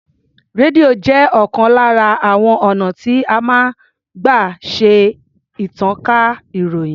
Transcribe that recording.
Rédíò jẹ́ ọ̀kan lára àwon ọ̀nà tí a máa ń gbà ṣe ìtànká ìròyìn.